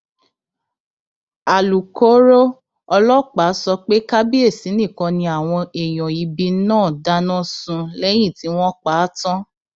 alukóró ọlọpàá sọ pé kábíyèsí nìkan ni àwọn èèyàn ibi náà dáná sun lẹyìn tí wọn pa á tán